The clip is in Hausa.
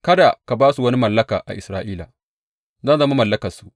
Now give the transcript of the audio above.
Kada ka ba su wani mallaka a Isra’ila; zan zama mallakarsu.